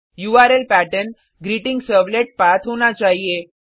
URL pattern ग्रीटिंगसर्वलेटपाठ होना चाहिए